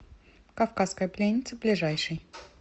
кавказская пленница ближайший